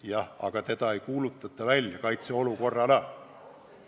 Jah, aga seda ei kuulutata välja kaitseolukorrana.